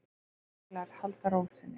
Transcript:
Deiluaðilar haldi ró sinni